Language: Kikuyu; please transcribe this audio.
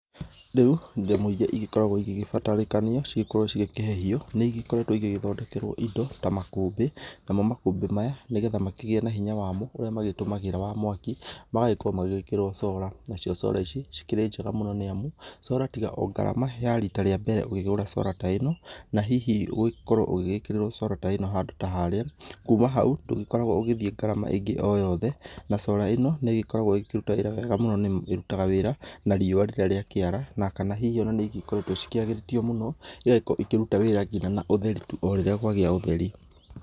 Rĩu, indo imwe iria igĩkoragwo igĩgĩbatarĩkania cigĩkorwo cigĩkĩhehio, nĩigĩkoretwo igĩgĩthondekerwo indo, ta makũmbĩ, namo makũmbĩ maya, nĩgetha makĩgĩe na hinya wamo ũrĩa magĩtũmagĩra wa mwaki, magagĩkorwo magĩgĩkĩrwo cora, nacio cora ici, cikĩ njega mũno nĩamu, cora tiga o ngarama ya rita rĩambere ũkĩgũra cora ta ĩno, na hihi ũgĩkorwo ũgĩgĩkĩrĩrwo cora ta ĩno handũ tya harĩa, kuma hau, ndũgĩkoragwo ũgĩthiĩ ngarama ĩngĩ oyothe, na cora ĩno nĩ ĩgĩkoragwo ĩgĩkĩruta wĩra wega mũno nĩamu ĩrutaga wĩra na riũwa rĩrĩa rĩakĩara, na kana hihi nĩigĩkoretwo ciagĩrĩtio mũno, igagĩkorwo ikĩruta wĩra nginya na ũtheri orĩrĩa kwagĩa ũtheri.